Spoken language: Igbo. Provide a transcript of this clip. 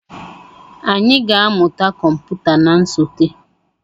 Anyị ga-amụta kọmputa na nsote.